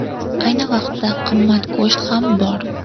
Ayni vaqtda qimmat go‘sht ham bor.